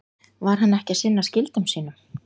Var hann ekki að sinna skyldum sínum?